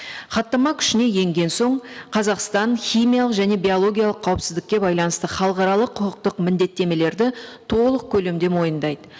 хаттама күшіне енген соң қазақстан химиялық және биологиялық қауіпсіздікке байланысты халықаралық құқықтық міндеттемелерді толық көлемде мойындайды